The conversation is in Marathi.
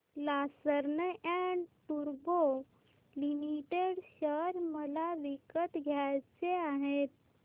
लार्सन अँड टुर्बो लिमिटेड शेअर मला विकत घ्यायचे आहेत